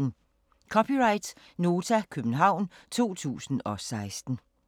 (c) Nota, København 2016